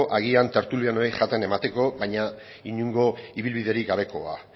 agian tertulianoei jaten emateko baina inongo ibilbiderik gabekoa